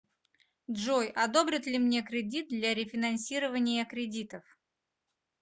джой одобрят ли мне кредит для рефинансирования кредитов